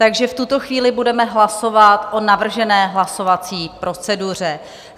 Takže v tuto chvíli budeme hlasovat o navržené hlasovací proceduře.